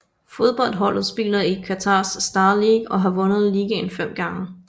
Fodboldholdet spiller i Qatar Stars League og har vundet ligaen fem gange